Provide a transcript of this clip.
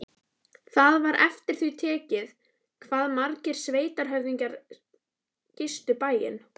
Það var eftir því tekið hvað margir sveitarhöfðingjar gistu bæinn.